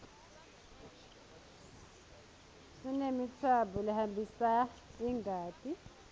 sinemitsambo lehambisa ingati